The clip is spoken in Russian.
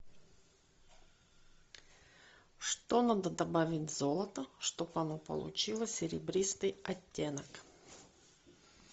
что надо добавить в золото чтобы оно получило серебристый оттенок